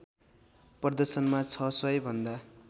प्रदर्शनमा ६०० भन्दा